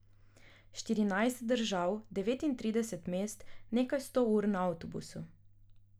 Štirinajst držav, devetintrideset mest, nekaj sto ur na avtobusu.